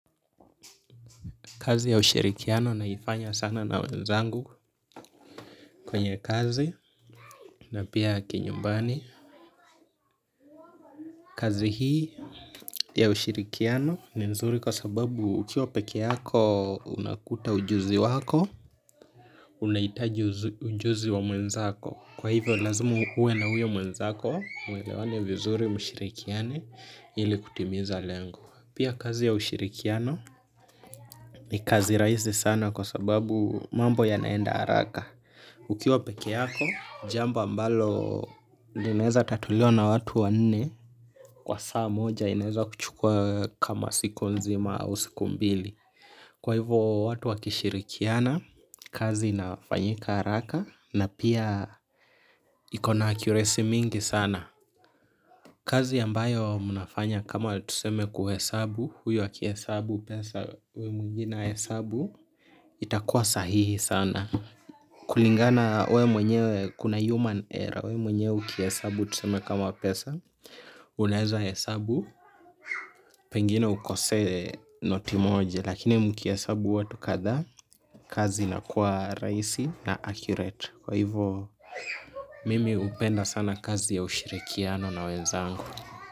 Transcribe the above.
Kazi ya usherikiano naifanya sana na wenzangu kwenye kazi na pia ki nyumbani. Kazi hii ya ushirikiano ni nzuri kwa sababu ukiwa peke yako unakuta ujuzi wako, unaitaji ujuzi wa mwenzako. Kwa hivo lazima uwe na huyo mwenzako muelewane vizuri mshirikiane ili kutimiza lengo. Pia kazi ya ushirikiano ni kazi raisi sana kwa sababu mambo ya naenda haraka. Ukiwa peke yako, jambo ambalo inaeza tatuliwa na watu wa nne kwa saa moja inaeza kuchukua kama siku nzima au siku mbili. Kwa hivo watu wakishirikiana, kazi inafanyika haraka na pia ikona akuresi mingi sana. Kazi ambayo mnafanya kama tuseme kuhesabu, huyu akihesabu pesa huyo mwingine ahesabu, itakua sahihi sana. Kulingana we mwenyewe kuna human error we mwenyewe ukihesabu tuseme kama pesa unaeza hesabu, pengine ukosee noti moja lakini mkiesabu watu kadhaa. Kazi ina kuwa rahisi na accurate kwa hivo mimi hupenda sana kazi ya ushirikiano na wenzangu.